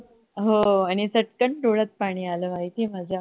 हो आणि चटकन डोळ्यात पाणी आल माहिती आहे माझ्या